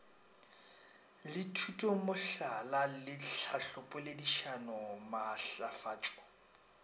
le thutomohlala le tlhahlopoledišano maatlafatšo